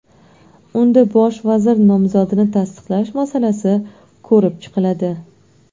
Unda bosh vazir nomzodini tasdiqlash masalasi ko‘rib chiqiladi.